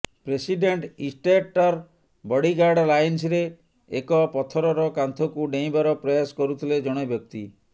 president ଇଷ୍ଟେଟର bodyguard ଲାଇନ୍ସରେ ଏକ ପଥରର କାନ୍ଥକୁ ଡେଇଁବାର ପ୍ରୟାସ କରୁଥିଲେ ଜଣେ ବ୍ୟକ୍ତି